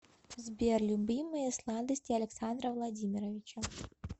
сбер любимые сладости александра владимировича